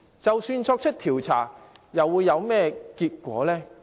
即使作出調查，又會有何結果？